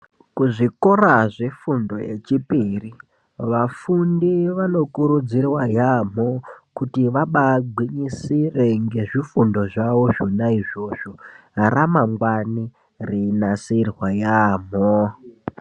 Kuzvikora zvefundo yechipiri vafundi vanokuridzirwa yaamho kuti vabagwinyisire ngezvifundo zvona izvozvo ramangwana rinasirwe yaamho.